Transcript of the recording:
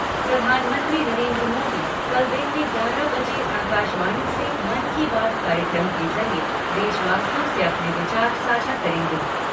प्रधानमंत्री नरेन्द्र मोदी कल दिन में ग्यारह बजे आकाशवाणी से मन की बात कार्यक्रम के जरिये देशवासियों से अपने विचार साझा करेंगे।